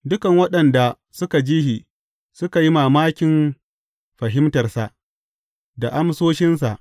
Dukan waɗanda suka ji shi, suka yi mamakin fahimtarsa, da amsoshinsa.